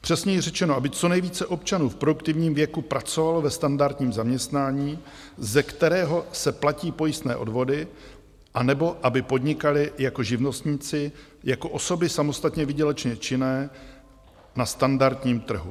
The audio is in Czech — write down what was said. Přesněji řečeno, aby co nejvíce občanů v produktivním věku pracovalo ve standardním zaměstnání, ze kterého se platí pojistné odvody, anebo aby podnikali jako živnostníci, jako osoby samostatně výdělečně činné na standardním trhu.